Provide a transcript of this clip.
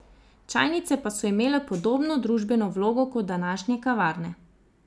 Čajnice pa so imele podobno družbeno vlogo kot današnje kavarne.